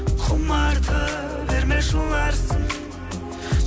құмарта берме жыларсың